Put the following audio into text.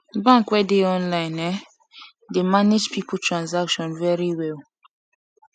bank wey dey online um dey manage people transaction very well